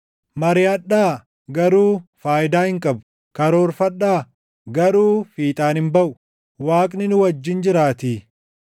Mariʼadhaa; garuu faayidaa hin qabu; karoorfadhaa; garuu fiixaan hin baʼu; Waaqni nu wajjin jiraatii.